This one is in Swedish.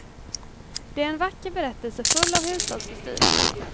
Det är en vacker berättelse full av hushållsbestyr.